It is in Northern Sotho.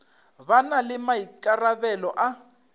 ba na le maikarabelo a